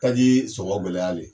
Taji sɔngɔn gɛlɛyale